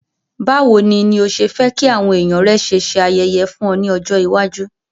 Bàwoni ni o se fe ki àwon èyàn rẹ ṣe se ayẹyẹ fún o ni ọjọ̀ iwájú.